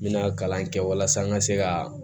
N bɛna kalan kɛ walasa n ka se ka